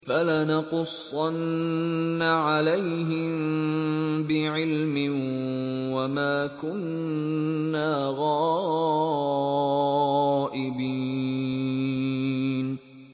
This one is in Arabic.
فَلَنَقُصَّنَّ عَلَيْهِم بِعِلْمٍ ۖ وَمَا كُنَّا غَائِبِينَ